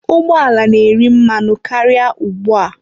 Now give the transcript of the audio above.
Ụgbọ ala na-eri mmanụ karịa ugbu a.